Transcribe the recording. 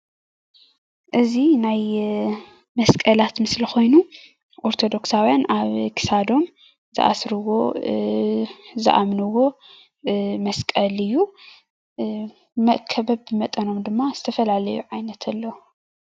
እዚ ናይ መስቀላት ምስሊ ኮይኑ ኦርቶዶክሳዉያን አብ ክሳዶም ዝአስርዎ ዝአምንዎ መስቀል እዩ። መእከበብ ብኡ መጠን ድማ ዝተፈላለየ ዓይነት አሎ።